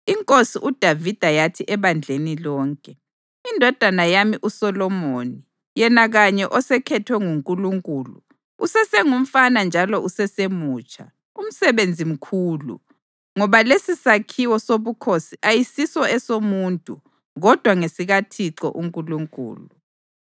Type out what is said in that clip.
Inkosi uDavida yathi ebandleni lonke: “Indodana yami uSolomoni, yena kanye osekhethwe nguNkulunkulu, usesengumfana njalo usesemutsha. Umsebenzi mkhulu, ngoba lesisakhiwo sobukhosi ayisiso esomuntu kodwa ngesikaThixo uNkulunkulu.